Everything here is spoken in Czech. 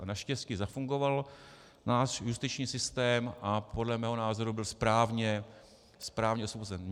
A naštěstí zafungoval náš justiční systém a podle mého názoru byl správně osvobozen.